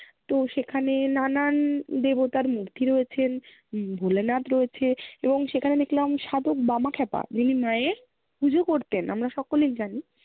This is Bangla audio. তো সেখানে নানান দেবতার মূর্তি রয়েছেন। ভোলানাথ রয়েছে এবং সেখানে দেখলাম সাধক বামাক্ষ্যাপা। যিনি মায়ের পূজো করতেন। আমরা সকলেই জানি।